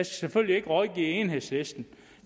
selvfølgelig ikke rådgive enhedslisten